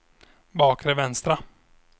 bakre vänstra